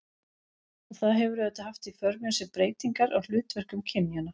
Og það hefur auðvitað haft í för með sér breytingar á hlutverkum kynjanna.